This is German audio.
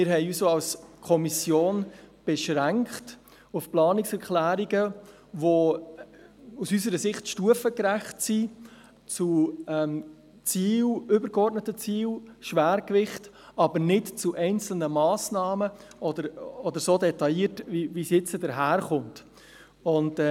Als Kommission beschränkten wir uns auch auf Planungserklärungen, die aus unserer Sicht stufengerecht sind, übergeordnete Ziele und Schwerpunkte betreffen, aber ohne auf einzelne Massnahmen so detailliert einzugehen, wie es jetzt daherkommen.